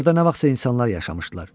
Orada nə vaxtsa insanlar yaşamışdılar.